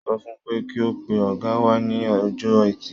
Mo sọ fun pé kí ó pe ọ̀gá wa ní Ọjọ́ẹtì.